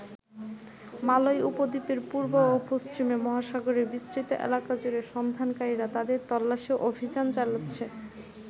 মালয় উপদ্বীপের পূর্ব ও পশ্চিমে মহাসাগরের বিস্তৃত এলাকা জুড়ে সন্ধানকারীরা তাদের তল্লাশি অভিযান চালাচ্ছে।